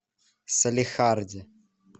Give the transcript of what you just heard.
салехарде